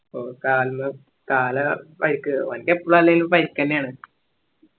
കാലിന് കാല പരിക്ക് ഓന്ക്ക് എപ്പളും അല്ലേലും പരിക്കന്യാന്